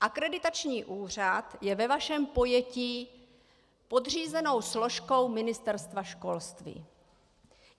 Akreditační úřad je ve vašem pojetí podřízenou složkou Ministerstva školství.